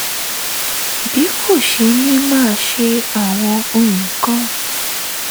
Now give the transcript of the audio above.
bí kò ṣe ní máa ṣe àwọn nǹkan